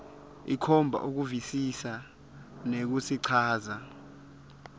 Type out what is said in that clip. ikhomba kuvisisa nekusichaza